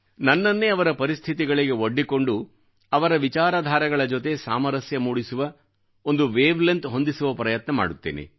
ನನ್ನನ್ನೇ ಅವರ ಪರಿಸ್ಥಿತಿಗಳಿಗೆ ಒಡ್ಡಿಕೊಂಡು ಅವರ ವಿಚಾರಧಾರೆಗಳ ಜೊತೆ ಸಾಮರಸ್ಯ ಮೂಡಿಸುವ ಒಂದು ವೇವ್ ಲೆನ್ತ್ ಹೊಂದಿಸುವ ಪ್ರಯತ್ನ ಮಾಡುತ್ತೇನೆ